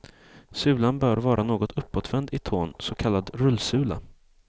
Sulan bör vara något uppåtvänd i tån, så kallad rullsula.